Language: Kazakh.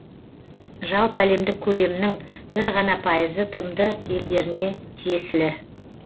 жалпыәлемдік көлемнің бір ғана пайызы тмд елдеріне тиесілі